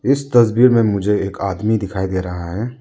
इस तस्वीर में मुझे एक आदमी दिखाई दे रहा है।